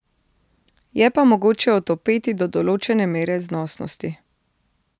Je pa mogoče otopeti do določene mere znosnosti.